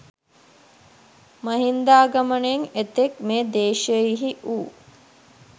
මහින්දාගමනයෙන් එතෙක් මේ දේශයෙහි වූ